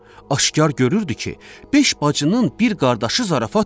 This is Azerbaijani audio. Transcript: Aşkar görürdü ki, beş bacının bir qardaşı zarafat deyil.